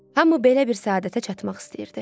Hamı belə bir səadətə çatmaq istəyirdi.